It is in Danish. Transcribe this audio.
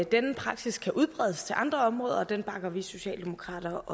denne praksis kan udbredes til andre områder og det bakker vi socialdemokrater